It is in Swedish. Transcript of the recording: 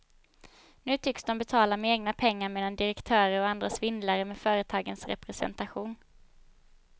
Nu tycks de betala med egna pengar medan direktörer och andra svindlar med företagens representation.